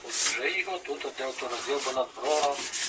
Artıq onun yolu burada hardasa dağılıb.